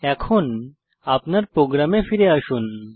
এখন আপনার প্রোগ্রামে ফিরে আসুন